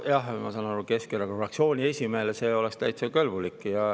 Ma saan aru, et Keskerakonna fraktsiooni esimehele see oleks täitsa kõlbulik.